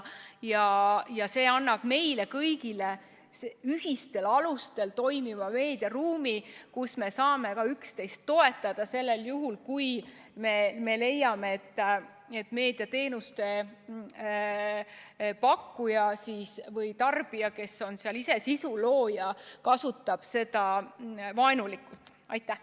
See direktiiv annab meile kõigile ühistel alustel toimiva meediaruumi, kus me saame üksteist toetada, kui me leiame, et meediateenuste pakkuja või tarbija, kes on seal ise sisu looja, kasutab seda vaenulikult.